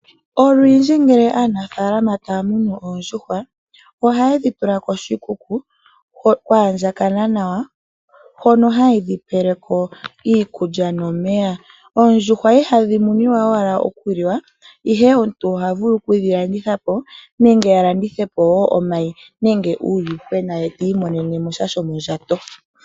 Olundji ngele aanafaalama taa munu oondjuhwa ohaye dhi tula koshikuku, kwaandjakana nawa, hono haye dhi pele ko iikulya nomeya. Oondjuhwa ihadhi muniwa wala okuliwa ,ihe omuntu oha vulu okudhi landitha po, nenge a landithe po omayi nenge uuwuhwena ye ti imonene mo sha shomondjato.